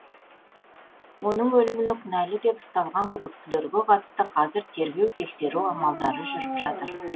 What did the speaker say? оның өліміне кінәлі деп ұсталған күдіктілерге қатысты қазір тергеу тексеру амалдары жүріп жатыр